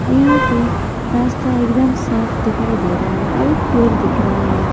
यहां पे रास्ता एकदम साफ दिखाई दे रहा है और एक पेड़ दिख रहा है।